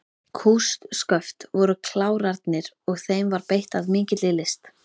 Kústsköft voru klárarnir og þeim var beitt af mikilli list.